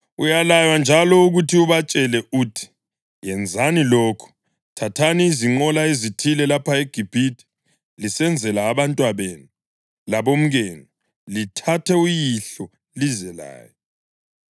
Uyalaywa njalo ukuthi ubatshele uthi, ‘Yenzani lokhu: Thathani izinqola ezithile lapha eGibhithe lisenzela abantwabenu, labomkenu, lithathe uyihlo lize laye.